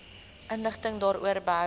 inligting daaroor behoue